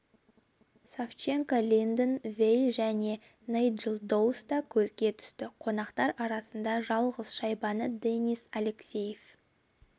савченко линден вей және найджел доус та көзе түсті қонақтар арасында жалғыз шайбаны денис алексеев